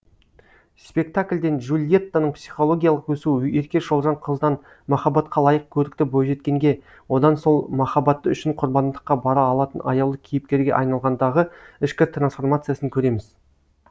спектакльден джульеттаның психологиялық өсуі ерке шолжаң қыздан махаббатқа лайық көрікті бойжеткенге одан сол махаббаты үшін құрбандыққа бара алатын аяулы кейіпкерге айналғандағы ішкі трансформациясын көреміз